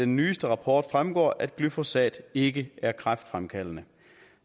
nyeste rapport fremgår det at glyfosat ikke er kræftfremkaldende